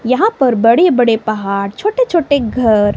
यहां पर बड़े बड़े पहाड़ छोटे छोटे घर--